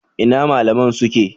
Ina malaman ku suke?